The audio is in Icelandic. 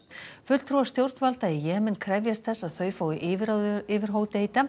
fulltrúar stjórnvalda í Jemen krefjast þess að þau fái yfirráð yfir Hodeida